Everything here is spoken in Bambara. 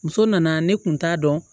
Muso nana ne kun t'a dɔn